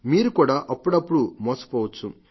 మీరు కూడా అప్పుడప్పుడూ మోసపోవచ్చు